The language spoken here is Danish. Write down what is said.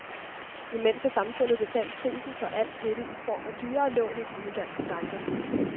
Imens har det samfundet betalt prisen for alt dette i form af dyrere lån i de udenlandske banker.